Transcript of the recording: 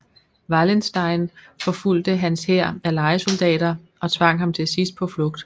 Wallenstein forfulgte hans hær af lejesoldater og tvang ham til sidst på flugt